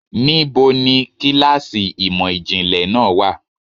Níbo ni kíláàsì ìmò ìjìnlẹ̀ náà wà?